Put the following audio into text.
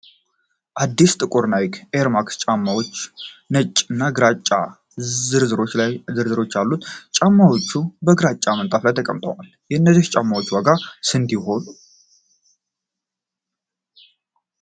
አዲስ ጥቁር ናይክ ኤር ማክስ ጫማዎች ፣ ነጭ እና ግራጫ ዝርዝሮች አሉት ። ጫማዎቹ በግራጫ ምንጣፍ ላይ ተቀምጠዋል ። የእነዚህ ጫማዎች ዋጋ ስንት ይሆን?